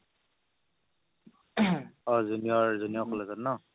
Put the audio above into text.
অ' junior junior college ত ন